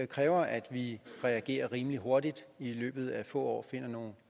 kræver at vi reagerer rimelig hurtigt og i løbet af få år finder nogle